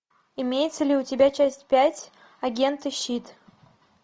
имеется ли у тебя часть пять агенты щит